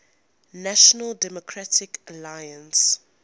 national democratic alliance